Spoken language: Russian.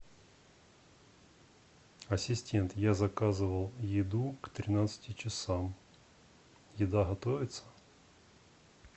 ассистент я заказывал еду к тринадцати часам еда готовится